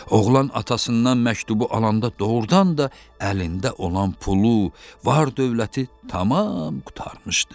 Oğlan atasından məktubu alanda doğrudan da əlində olan pulu, var-dövləti tamam qurtarmışdı.